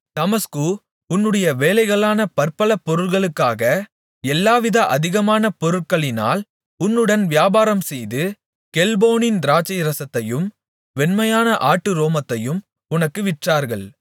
தமஸ்கு உன்னுடைய வேலைகளான பற்பல பொருள்களுக்காக எல்லாவித அதிகமான பொருட்களினால் உன்னுடன் வியாபாரம்செய்து கெல்போனின் திராட்சைரசத்தையும் வெண்மையான ஆட்டு ரோமத்தையும் உனக்கு விற்றார்கள்